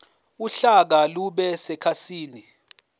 uhlaka lube sekhasini